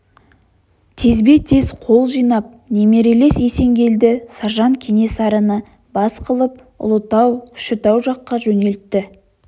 тезбе-тез қол жинап немерелес есенгелді саржан кенесарыны бас қылып ұлытау кішітау жаққа жөнелтті